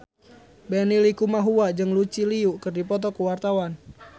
Benny Likumahua jeung Lucy Liu keur dipoto ku wartawan